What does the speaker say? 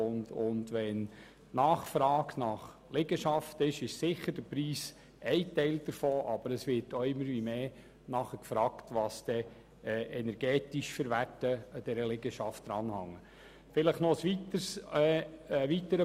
Wenn dann eine Nachfrage nach Liegenschaften besteht, ist der Preis für eine Liegenschaft sicher einer der relevanten Punkte, aber die energetischen Werte spielen zunehmend eine grössere Rolle.